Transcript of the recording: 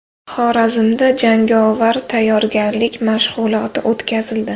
Xorazmda jangovar tayyorgarlik mashg‘uloti o‘tkazildi.